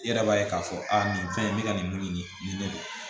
I yɛrɛ b'a ye k'a fɔ a nin fɛn in bɛ ka nin mun ɲini nin bɛ